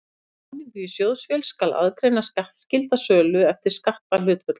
Við skráningu í sjóðvél skal aðgreina skattskylda sölu eftir skatthlutföllum.